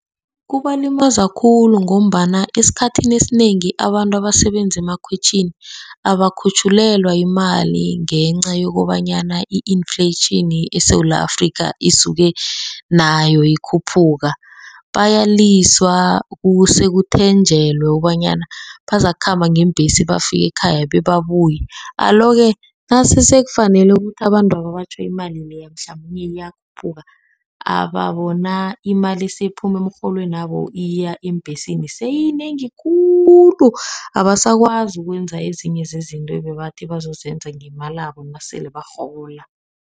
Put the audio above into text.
Kubalimaza khulu ngombana esikhathini esinengi abantu abasebenzi emakhwitjhini abakhutjhulelwa imali, ngenca yokobanyana i-inflation eSewula Afrika isuke nayo ikhuphuka. Bayaliswa kuse kuthenjelwe wokobanyana bakhamba ngeembhesi bafike ekhaya bebabuye. Alo-ke nasekufanele ukuthi abantwaba batjho, imali le mhlamunye iyakhuphuka sebabona imali siphuma emrholwenabo iya eembhesini seyinengi khulu. Abasakwazi ukwenza ezinye zezinto bebathi bazenza ngeemalabo nasele barhola.